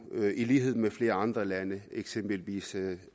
i lighed med flere andre lande eksempelvis